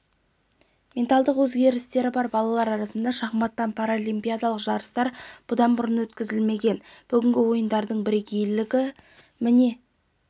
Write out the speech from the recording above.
менталдық өзгерістері бар балалар арасында шахматтан паралимпиадалық жарыстар бұдан бұрын өткізілмеген бүгінгі ойындардың бірейгейлігі міне